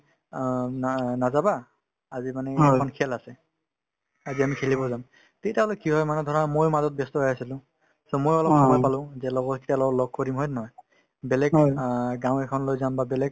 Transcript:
অ, উম না নাযাবা আজিমানে এখন খেল আছে আজি আমি খেলিব যাম তেতিয়াহলে কি হয় মানে ধৰা মই মাজত ব্যস্ত হৈ আছিলো so মই অলপ সময় পালো যে লগ কৰিম হয় নে নহয় বেলেগ অ গাওঁ এখনলৈ যাম বা বেলেগ